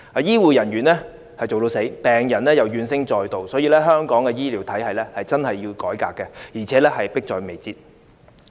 醫護人員筋疲力竭，病人亦怨聲載道，所以香港的醫療體系改革真的有需要，而且迫在眉睫。